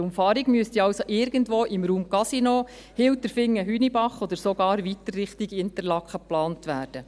Die Umfahrung müsste also irgendwo im Raum Casino-Hilterfingen-Hünibach oder sogar weiter Richtung Interlaken geplant werden.